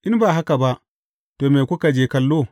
In ba haka ba, to, me kuka je kallo?